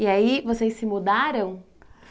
E aí, vocês se mudaram?